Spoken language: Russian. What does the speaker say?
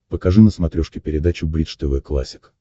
покажи на смотрешке передачу бридж тв классик